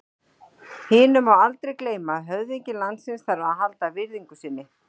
Hinu má aldrei gleyma að höfðingi landsins þarf að halda virðingu sinni.